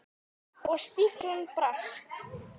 Og stíflan brast.